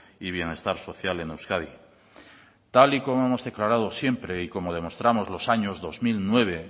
y bienestar social en euskadi tal y como hemos declarado siempre y como demostramos los años dos mil nueve